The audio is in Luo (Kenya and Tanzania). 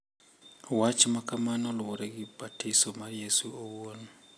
Wach ma kamano luwore gi batiso mar Yesu owuon,